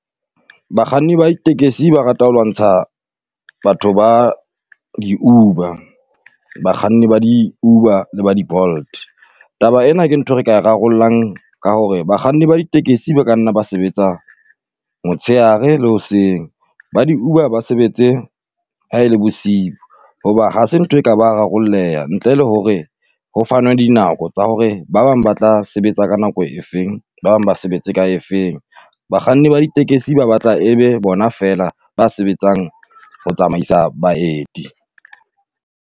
Bakganni ba di tekesi ba rata ho lwantsha batho ba di-Uber, bakganni ba di-Uber le ba di-Bolt. Taba ena ke nthwe re ka rarollang ka hore bakganni ba di tekesi ba ka nna ba sebetsa motshehare le hoseng, ba di-Uber ba sebetse ha e le bosiu, hoba hase ntho e ka ba rarolleha ntle le hore ho fanwe dinako tsa hore ba bang ba tla sebetsa ka nako e feng, Ba bang ba sebetse ka e feng. Bakganni ba ditekesi ba batla e be bona feela ba sebetsang ho tsamaisa baeti.